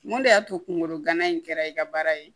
Mun de y'a to kunkolo gana in kɛra i ka baara ye